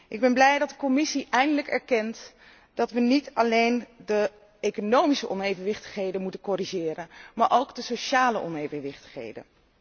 Ik ben blij dat de Commissie eindelijk erkent dat wij niet alleen de economische onevenwichtigheden moeten corrigeren, maar ook de sociale onevenwichtigheden.